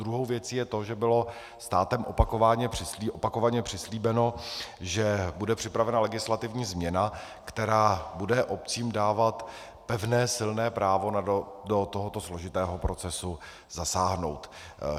Druhou věcí je to, že bylo státem opakovaně přislíbeno, že bude připravena legislativní změna, která bude obcím dávat pevné, silné právo do tohoto složitého procesu zasáhnout.